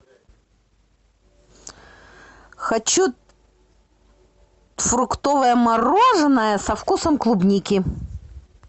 хочу фруктовое мороженое со вкусом клубники